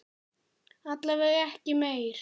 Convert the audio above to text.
Alla vega ekki meir.